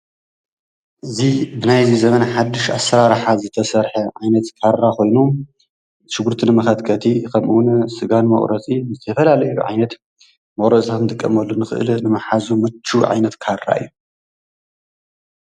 እዙይ ብናይዚ ዘመን ሓዱሽ አሰራርሓ ዝተሰርሐ ዓይነትት ካራ ኮይኑ ሽጉርቲ ንመከትከቲ ከምኡ እዉን ስጋ ንመቁረፂ ንዝተፈላለዩ ዓይነት መቁረፂ ክንጥቀመሉ ንክእል ንምሓዙ ምቹው ዓይነት ካራ እዩ።